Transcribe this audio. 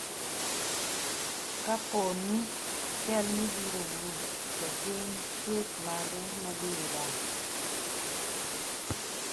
Ka pooni chalni biro wuok, to gin chwech mage mabiro dak?